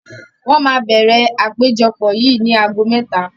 Wọn máa bẹ̀rẹ̀ àpéjọpọ̀ yìí ni ago mẹ́ta